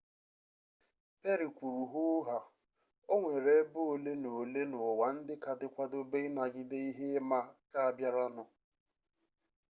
perry kwuru hoo haa o nwere ebe ole na ole n'ụwa ndị ka dị kwadobe ịnagide ihe ịma aka a bịaranụ